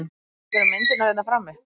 Og tekurðu myndirnar hérna frammi?